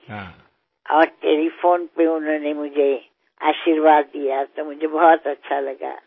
हो आणि दूरध्वनीवरून त्यांनी मला आशीर्वाद दिले त्याचा मला फार आनंद वाटला